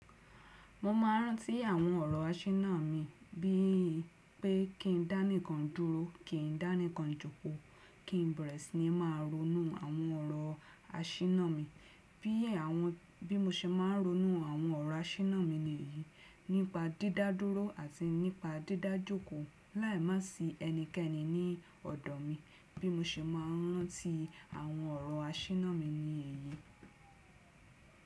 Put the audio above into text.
Mo máa rántí àwọn ọ̀rọ̀ asíná mi, bí i pé kí n dání kan dúró, kí n dání kan jòkó, kí n bẹ̀rẹ̀ sí ní máa ronú àwọn ọ̀rọ̀ asíná mi. Bí è àwọn bí mo ṣe máa ń ronú àwọn ọ̀rọ̀ asíná mi ni èyí. Nípa dídádúró àti nípa dídájòkó láì má sì ẹnikẹ́ni ní ọ̀dọ̀ mi. Bí mo ṣe máa rántí àwọn ọ̀rọ̀ asíná mi ni èyí.